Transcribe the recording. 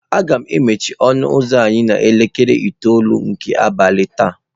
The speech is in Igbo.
M ga-emechi ọnụ ụzọ anyị n'elekere itoolu nke abalị taa.